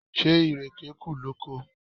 Ṣé ìrèké kù lóko?